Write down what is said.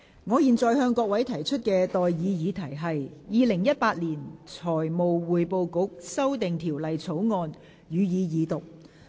我現在向各位提出的待議議題是：《2018年財務匯報局條例草案》，予以二讀。